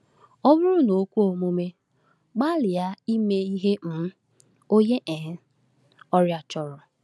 Ọ bụrụ na o kwe omume, gbalịa ime ihe um onye um ọrịa chọrọ.